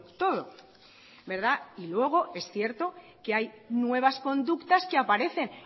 todo verdad y luego es cierto que hay nuevas conductas que aparecen